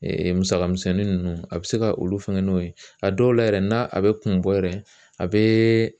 musaka misɛnnin ninnu a bɛ se ka olu fɛnkɛn n'o ye a dɔw la yɛrɛ n'a bɛ kun bɔ yɛrɛ ,a bɛ